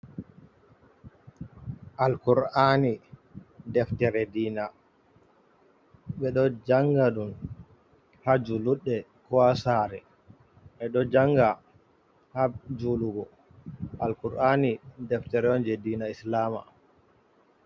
Al kur’ani deftere diina ɓe ɗo janga ɗun ha juluɗɗe, ko ha sare ɓe ɗo janga ha julugo, al kur’ani deftere on je diina Islam.